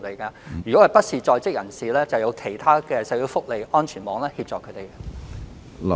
對於非在職人士，我們會利用其他社會福利安全網援助他們。